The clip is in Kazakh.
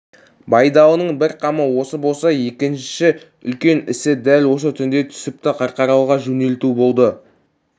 байдалының бір қамы осы болса екінші үлкен ісі дәл осы түнде түсіпті қарқаралыға жөнелту болды